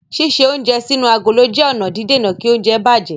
Ṣíṣe oúnjẹ sínú agolo jẹ́ ọ̀nà dídèna kí oúnjẹ bàjẹ́.